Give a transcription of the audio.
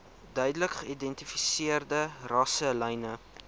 duidelik geïdentifiseerde rasselyne